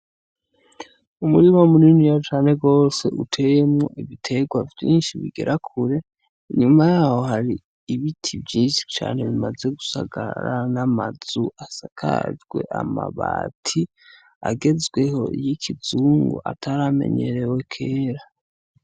Umurima muniniya cane gose uteyemwo ibiterwa vyishi bigera kure inyuma yaho hari ibiti vyishi cane bimaze gusagarara n'amazu asakajwe amabati agezweho y'ikizungu ataramenyerewe kera.